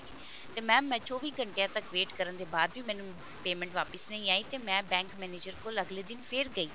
ਤੇ mam ਮੈਂ ਚੋਵੀ ਘੰਟਿਆਂ ਤੱਕ wait ਕਰਨ ਦੇ ਬਾਵਜੂਦ ਮੈਨੂੰ payment ਵਾਪਿਸ ਨਹੀਂ ਆਈ ਤੇ ਮੈਂ bank manager ਕੋਲ ਅਗਲੇ ਦਿਨ ਫੇਰ ਗਈ